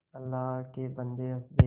अल्लाह के बन्दे हंस दे